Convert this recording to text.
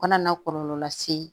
Kana na kɔlɔlɔ lase